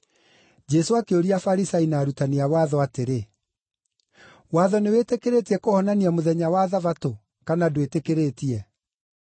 Jesũ akĩũria Afarisai na arutani a watho atĩrĩ, “Watho nĩwĩtĩkĩrĩtie kũhonania mũthenya wa Thabatũ, kana ndwĩtĩkĩrĩtie?”